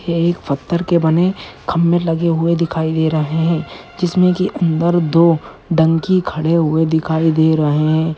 ये एक पत्थर के बने खंबे लगे हुए दिखाई दे रहे हैं जिसमें की अंदर दो डंकी खड़े हुए दिखाई दे रहे हैं।